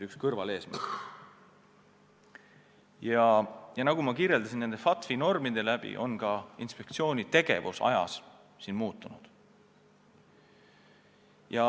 Nagu ma märkisin, FATF-i normide mõjul on ka inspektsiooni tegevus aja jooksul muutunud.